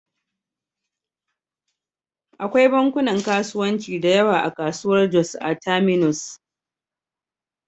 Akwai bankunan kasuwanci da yawa a kasuwar Jos a Terminus.